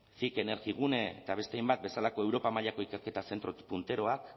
cic energigune eta beste hainbat bezalako europa mailako ikerketa zentro punteroak